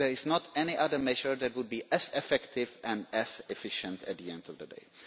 There is no other measure that would be as effective and as efficient at the end of the